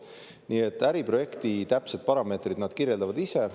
Nii et äriprojekti täpsed parameetrid nad kirjeldavad ise.